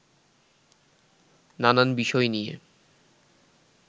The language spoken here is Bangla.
নানান বিষয় নিয়ে